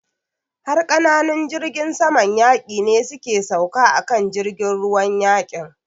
Har ƙananun jirgin saman yaƙi ne su ke sauka a kan jirgin ruwan yaƙin.